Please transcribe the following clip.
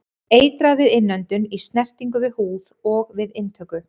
Eitrað við innöndun, í snertingu við húð og við inntöku.